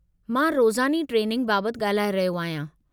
मां रोज़ानी ट्रेनिंग बाबति ॻाल्हाए रहियो आहियां.